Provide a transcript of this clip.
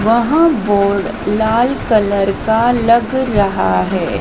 वहां बोर्ड लाल कलर का लग रहा है।